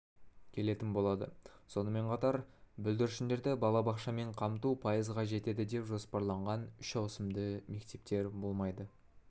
келетін болады сонымен қатар бүлдіршіндерді балабақшаман қамту пайызға жетеді деп жоспарланған үш ауысымды мектептер болмайды